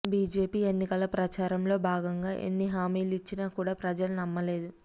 BJP ఎన్నికల ప్రచారంలో భాగంగా ఎన్ని హామీలు ఇచ్చినా కూడా ప్రజలు నమ్మలేదు